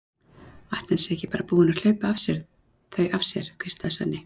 Ætli hann sé ekki bara búinn að hlaupa þau af sér, hvíslaði Svenni.